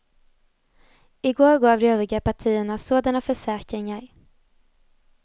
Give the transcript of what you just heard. I går gav de övriga partierna sådana försäkringar.